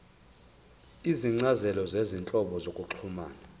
izincazelo zezinhlobo zokuxhumana